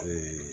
A bɛ